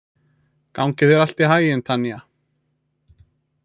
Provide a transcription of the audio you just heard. Gangi þér allt í haginn, Tanja.